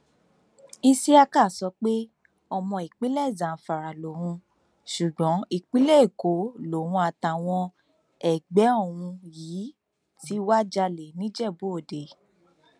isiaka sọ pé ọmọ ìpínlẹ zamfara lòun ṣùgbọn ìpínlẹ èkó lòun àtàwọn ẹgbẹ òun yìí ti wáá jalè nìjẹbúòde